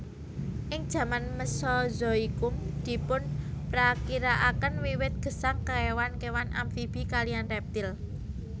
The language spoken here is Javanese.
Ing jaman mesozoikum dipunprakirakaken wiwit gesang kéwan kéwan amfibi kaliyan reptil